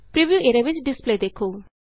preview area ਵਿਚ display ਦੇਖੋ